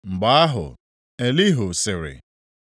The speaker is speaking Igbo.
Mgbe ahụ Elihu sịrị: